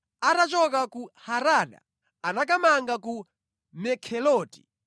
Atachoka ku Harada anakamanga ku Mekheloti.